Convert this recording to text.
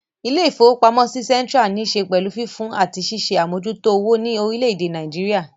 Ilé-ìfowópamọ́sí Central ní ṣe pẹ̀lú fífún àti ṣíṣe àmójútó owó ní orílé èdè Nàìjíríà